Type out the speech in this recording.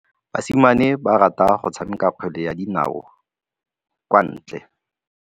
Basimane ba rata go tshameka kgwele ya dinaô kwa ntle.